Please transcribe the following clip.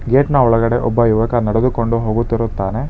ಗೇಟ್ನ ಒಳಗಡೆ ಒಬ್ಬ ಯುವಕ ನೆಡೆದುಕೊಂಡು ಹೋಗುತ್ತಿರುತ್ತಾನೆ.